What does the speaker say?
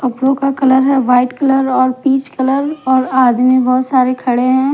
कपड़ों का कलर है व्हाइट कलर और पीच कलर और आदमी बहोत सारे खड़े हैं।